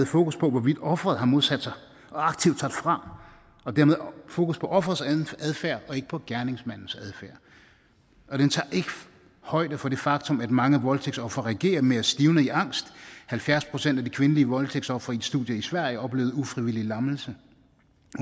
fokus på hvorvidt offeret har modsat sig og aktivt sagt fra og dermed fokus på offerets adfærd og ikke på gerningsmandens adfærd og den tager ikke højde for det faktum at mange voldtægtsofre reagerer med at stivne i angst halvfjerds procent af de kvindelige voldtægtsofre i et studie i sverige oplevede ufrivillig lammelse